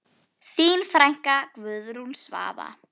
Þín frænka, Guðrún Svava.